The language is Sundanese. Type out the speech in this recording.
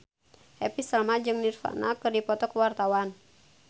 Happy Salma jeung Nirvana keur dipoto ku wartawan